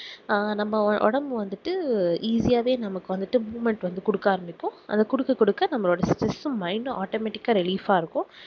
அஹ் நம்ம ஒடம்பு வந்துட்டு easy ஆஹ் வே நமக்கு வந்துட்டு movement குடுக்க ஆரம்பிக்கும் அத குடுக்க குடுக்க நம்மளோட stress உம் mindautomatic ஆஹ் relief ஆஹ் இருக்கும்